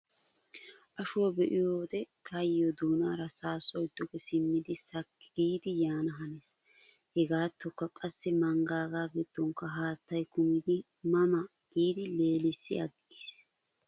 Ashuwaa be'iyoode taayyoo doonaara saassoy duge simmidi sakki giidi yaana hanees. Hegaatookka qassi manggaaga giddonkka haattay kumidi ma ma giidi leelissi aggiis.